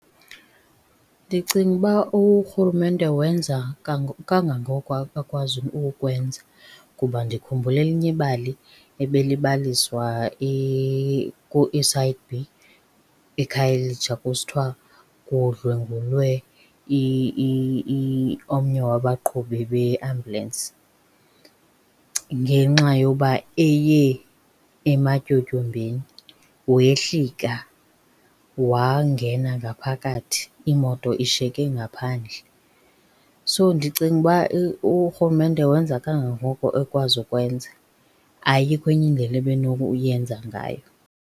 Ndicinga uba urhulumente wenza kangangoko akwazi ukwenza kuba ndikhumbula elinye ibali ebelibaliswa eSite B eKhayelitsha kusithiwa kudlwengulwe omnye wabaqhubi beambulanisi ngenxa yoba eye ematyotyombeni. Wehlika wangena ngaphakathi imoto ishiyeke ngaphandle, so ndicinga uba urhulumente wenza kangangoko ekwazi ukwenza, ayikho enye indlela ebenokuyenza ngayo.